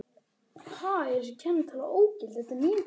Hann neyddi sjálfan sig til að horfa til hafs.